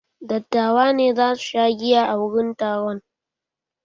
Dattawa za su sha giya a wurin taron.